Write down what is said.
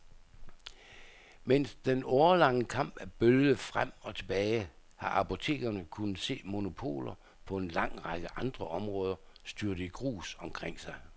Mens den årelange kamp er bølget frem og tilbage, har apotekerne kunnet se monopoler på en lang række andre områder styrte i grus omkring sig.